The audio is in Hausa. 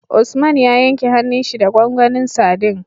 Usman ya yanke hanun shi da gwangwanin sadin